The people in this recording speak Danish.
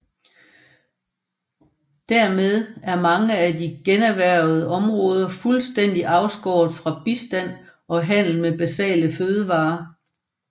Dermed er mange af de generhvervede områder fuldstændig afskåret fra bistand og handel med basale fødevarer